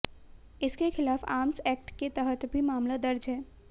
इसके खिलाफ आम्र्स एक्ट के तहत भी मामला दर्ज है